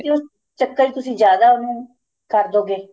ਤੇ ਉਸ ਚਕਰ ਤੁਸੀਂ ਜਿਆਦਾ ਉਹਨੂੰ ਕਰ ਦੋ ਗੇ